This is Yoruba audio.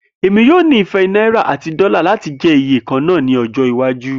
Emi yoo nifẹ Naira ati dola lati jẹ ti iye kanna ni ojo iwaju